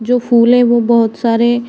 जो फूल हैं वो बहुत सारे --